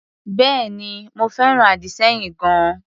Bẹ́èni, mo fẹ́ràn àdì-sẹ́yìn gan-an.